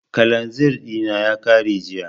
Kalanzir ɗina ya ƙare jiya